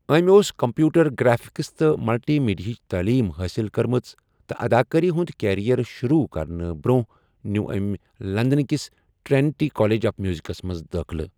أمۍ اوس computer graphics تہٕ ملٹی میڈیاہٕچ تٔعلیٖم حٲصِل کٔرمٕژ تہٕ اداکٲری ہُنٛد کیریئر شروٗع کرنہٕ برٛونٛہہ نِیوٗ ٲٔمۍ لندنٕکِس ٹرینیٹی کالج آف میوزکَس منٛز دٲخٕلہ۔